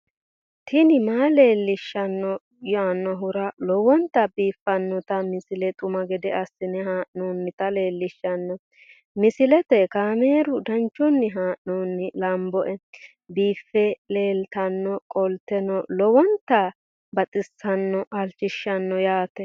tini maa leelishshanno yaannohura lowonta biiffanota misile xuma gede assine haa'noonnita leellishshanno misileeti kaameru danchunni haa'noonni lamboe biiffe leeeltannoqolten lowonta baxissannoe halchishshanno yaate